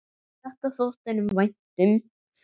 Þetta þótti honum vænt um.